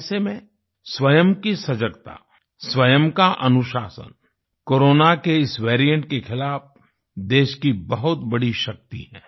ऐसे में स्वयं की सजगता स्वयं का अनुशासन कोरोना के इस वेरिएंट के खिलाफ देश की बहुत बड़ी शक्ति है